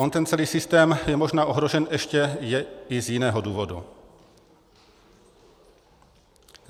On ten celý systém je možná ohrožen ještě i z jiného důvodu.